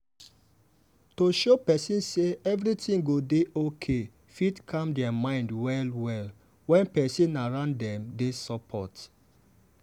to show person say everything go dey okay fit calm their mind well-well when people around them dey support.